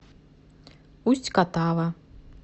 усть катава